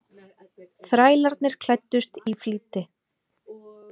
Þrælarnir klæddust í flýti.